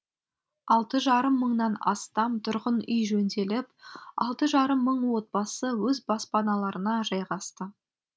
алты жарым мыңнан астам тұрғын үй жөнделіп алты жарым мың отбасы өз баспаналарына жайғасты